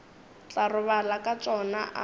tla robala ka tšona a